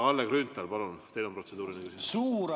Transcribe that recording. Kalle Grünthal, palun, teil on protseduuriline küsimus!